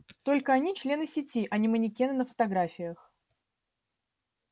только они члены сети а не манекены на фотографиях